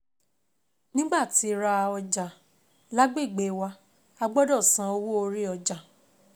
Nígbà tí ra ọjà lágbègbè wa, a gbọ́dọ̀ san owó orí ọjà